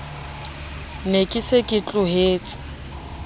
ne ke se ke tlohetse